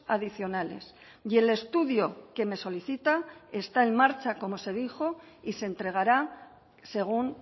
adicionales y el estudio que me solicita está en marcha como se dijo y se entregará según